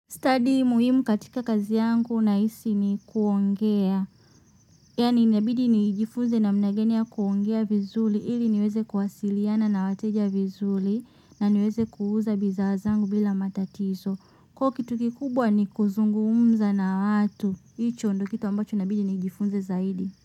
Stadi muhimu katika kazi yangu nahisi ni kuongea yani inabidi nijifunze namna gani ya kuongea vizuri ili niweze kuwasiliana na wateja vizuri na niweze kuuza bidhaa zangu bila matatizo. Kwa hiyo kitu kikubwa ni kuzungumza na watu. Hicho ndo kitu ambacho inabidi nijifunze zaidi.